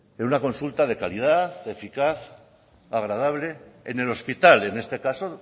en una consulta de calidad eficaz agradable en el hospital en este caso